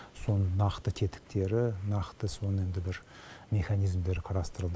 соның нақты тетіктері нақты соның енді бір механизмідері қарастырылды